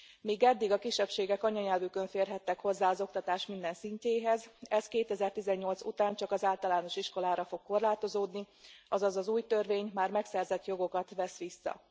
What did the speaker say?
Míg eddig a kisebbségek anyanyelvükön férhettek hozzá az oktatás minden szintjéhez, ez 2018 után csak az általános iskolára fog korlátozódni, azaz az új törvény már megszerzett jogokat vesz vissza.